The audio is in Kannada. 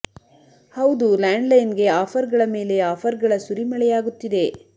ಹೌದು ಲ್ಯಾಂಡ್ ಲೈನ್ ಗೆ ಆಫರ್ ಗಳ ಮೇಲೆ ಆಫರ್ ಗಳ ಸುರಿಮಳೆಯಾಗುತ್ತಿದೆ